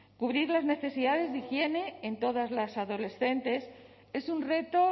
cubrir las necesidades de higiene en todas las adolescentes es un reto